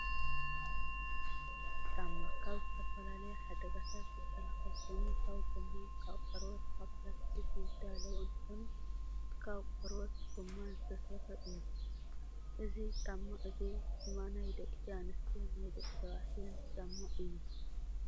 ጫማ፦ ካብ ዝተፈላለዩ ሓደጋታት ዝከላከል ኮይኑ ካብ ጎማ፣፣ ካብ ቆርበት፣ ካብ ብላስቲኽ ዝዳለው እንትኮኑ ፤ ካብ ቆርበት ጎማን ዝተሰርሑ እዩ። እዚ ጫማ እዙይ ድማ ናይ ደቂ ኣንስትዮን ናይ ደቂ ተባዕትዮን ጫማ እዩ።